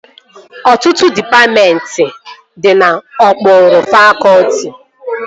Ọtụtụ dịpatmentị dị n'okpuru fakọtị